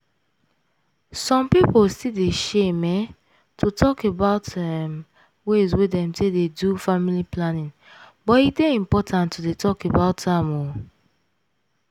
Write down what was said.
some pipo still dey shame um to talk about um ways dem take dey do family planning but e dey impotant to dey talk about am o.